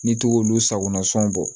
N'i to k'olu sagona sɔn bɔ